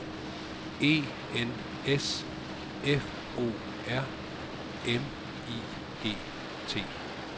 E N S F O R M I G T